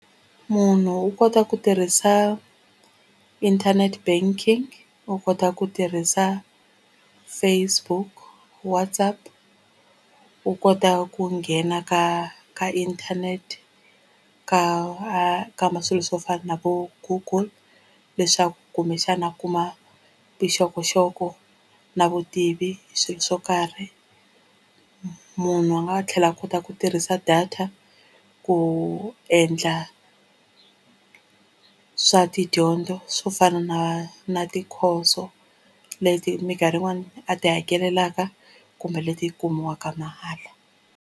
Munhu u kota ku tirhisa internet banking u kota ku tirhisa Facebook WhatsApp u kota ku nghena ka ka internet ka a kamba swilo swo fana na vo Google leswaku kumbexana a kuma vuxokoxoko na vutivi hi swilo swo karhi munhu a nga tlhela a kota ku tirhisa data ku endla swa tidyondzo swo fana na na tikhoso leti mikarhi yin'wani a ti hakelelaka kumbe leti kumiwaka mahala.